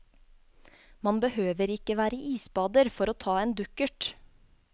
Man behøver ikke være isbader for å ta en dukkert.